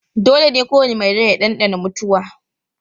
Dole ne kowane mai rai ya ɗanɗana mutuwa